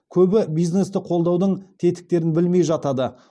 көбі бизнесті қолдаудың тетіктерін білмей жатады